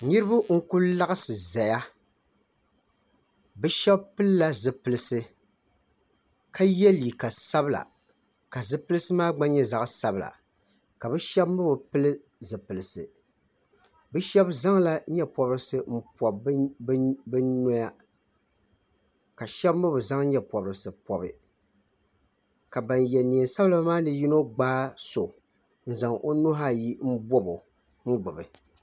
Nirba n kuli laɣsi zaya be shɛba pilila zipilisi ka yɛ liiga sabila ka zipilisi maa gba nyɛ zaɣ sabila ka be shɛba mi bi pili zipilisi be zaŋ la nyɛpɔbrisi m pɔbi be noya ka shɛba mi be zaŋ nyɛpɔrisi n pɔbi ka yɛ nɛɛnsabila maa ni yuno gbaai so n zaŋ o nuhi ayi mbo o gbibi